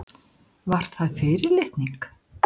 Var það fyrirlitning?